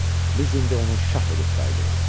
Biz indi onu şah edib qayıdırıq.